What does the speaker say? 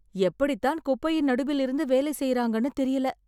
எப்படி தான் குப்பையின் நடுவில் இருந்து வேலை செய்றாங்கன்னு தெரியல?